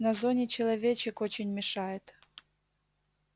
на зоне человечек очень мешает